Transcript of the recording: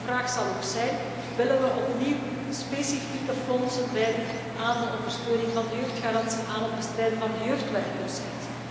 Een belangrijke vraag zal ook zijn willen we opnieuw specifieke fondsen wijden aan de ondersteuning van de jongerengarantie, aan het bestrijden van de jeugdwerkloosheid?